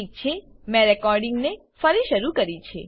ઠીક છે મેં રેકોર્ડીંગને ફરી શરૂ કરી છે